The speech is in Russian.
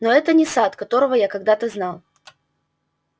но это не сатт которого я когда-то знал